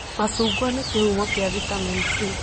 Macungwa nĩ kĩhumo kĩa vitamin C